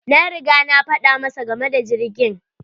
Na riga na faɗa masa game da jirgin.